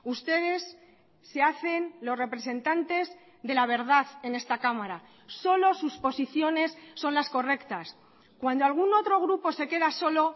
ustedes se hacen los representantes de la verdad en esta cámara solo sus posiciones son las correctas cuando algún otro grupo se queda solo